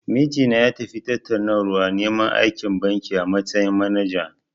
Mijina ya tafi tattaunawar neman aiki a banki, a matsayin manaja.